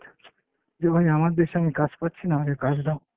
যে ভাই আমার দেশে আমি কাজ পাচ্ছি না, আমাকে কাজ দাও।